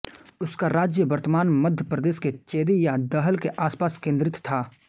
उसका राज्य वर्तमान मध्य प्रदेश के चेदि या दहल के आसपास केन्द्रित था